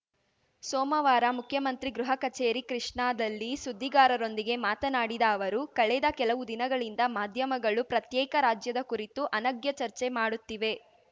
ಸೋಮವಾರ ಮುಖ್ಯಮಂತ್ರಿ ಗೃಹ ಕಚೇರಿ ಕೃಷ್ಣಾದಲ್ಲಿ ಸುದ್ದಿಗಾರರೊಂದಿಗೆ ಮಾತನಾಡಿದ ಅವರು ಕಳೆದ ಕೆಲವು ದಿನಗಳಿಂದ ಮಾಧ್ಯಮಗಳು ಪ್ರತ್ಯೇಕ ರಾಜ್ಯದ ಕುರಿತು ಅನಗ್ಯ ಚರ್ಚೆ ಮಾಡುತ್ತಿವೆ